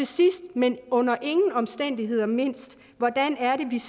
sidst men under ingen omstændigheder mindst hvordan